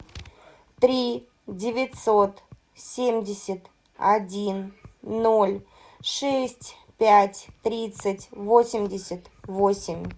три девятьсот семьдесят один ноль шесть пять тридцать восемьдесят восемь